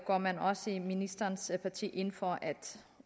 går man også i ministerens parti ind for at